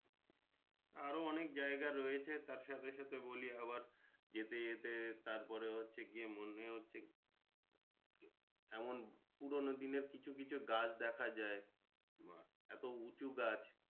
আরো অনেক জায়গা রয়েছে তার সাথে সাথে বলি আবার যেতে যেতে তারপরে হচ্ছে গিয়ে মনে হচ্ছে এমন পুরোনো দিনের কিছু কিছু গাছ দেখা যায় বা এত উঁচু গাছ